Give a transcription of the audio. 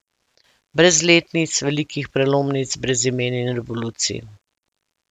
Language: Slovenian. Brez letnic, velikih prelomnic, brez imen in revolucij.